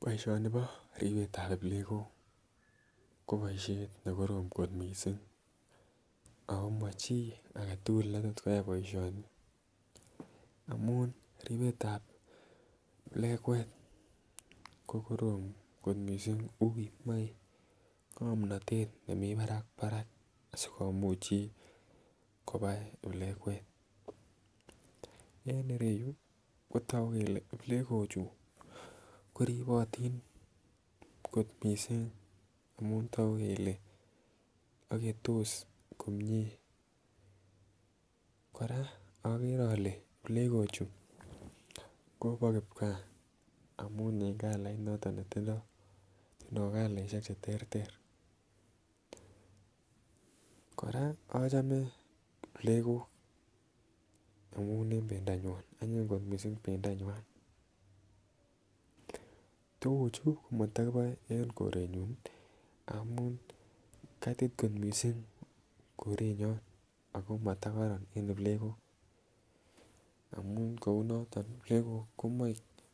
Boisionibo ribetab plegok ko boisiet nekorom kot missing ako mochii aketugul netot koyai boisioni amun ribetab plegwet ko korom kot missing uui moe ng'omnotet nemii barak barak sikomuch chi kobai plegwet. En ireyu kotogu kele plegok chu ko ribotin kot missing amun togu kele agetos komie. Kora okere ole plegok chu kobo kipgaa amun en kalait netindoo tindoo kalaisiek cheterter. Kora achome plegok amun en bendonywan, anyin kot missing bendonywan. Tuguchu komatokiboe en koretnyon amun kaitit kot missing keronyon ako matokoron en plegok amun kounoton ih plegok komoe